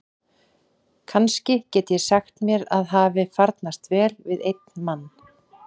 Kannski get ég sagt að mér hafi farnast vel við einn mann.